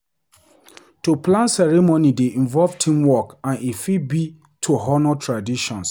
To plan ceremony dey involve teamwork and e fit be to honour traditions.